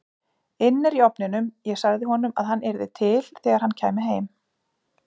inn er í ofninum, ég sagði honum að hann yrði til þegar hann kæmi heim.